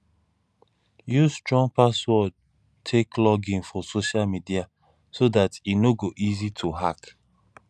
use strong password take login for social media so dat e no go easy to hack